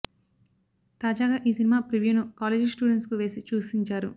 తాజాగా ఈ సినిమా ప్రివ్యూను కాలేజీ స్టూడెంట్స్ కు వేసి చూసించారు